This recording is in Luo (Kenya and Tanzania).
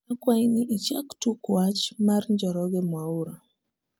akwai ni ichak tuk wech mar njoroge mwaura